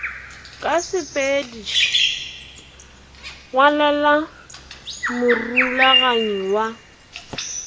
la sepedš ngwalela morulaganyi wa